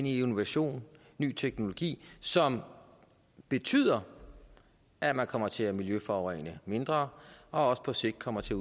i innovation og ny teknologi som betyder at man kommer til at miljøforurene mindre og også på sigt kommer til